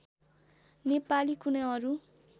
नेपाली कुनै अरू